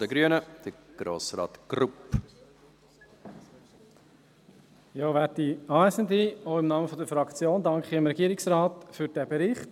Im Namen der Fraktion danke ich dem Regierungsrat für diesen Bericht.